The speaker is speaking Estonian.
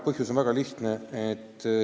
Põhjus on väga lihtne.